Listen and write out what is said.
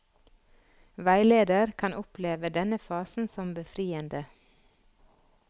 Veileder kan oppleve denne fasen som befriende.